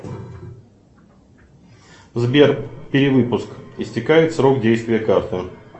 сбер перевыпуск истекает срок действия карты